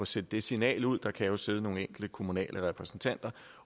sendt det signal ud der kan jo sidde nogle enkelte kommunale repræsentanter